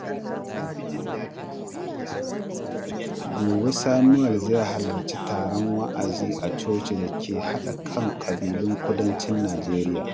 Gobe, Samuel zai halarci taron wa’azi a cocin da ke haɗa kan ƙabilun Kudancin Najeriya.